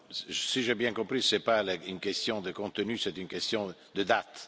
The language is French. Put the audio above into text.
Si j'ai bien compris, ce n'est pas une question de contenu, c'est une question de date.